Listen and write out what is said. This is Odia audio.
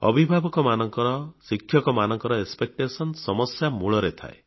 ଅଭିଭାବକମାନଙ୍କ ଶିକ୍ଷକମାନଙ୍କ ଏକ୍ସପେକ୍ଟେସନ ସମସ୍ୟା ମୂଳରେ ଥାଏ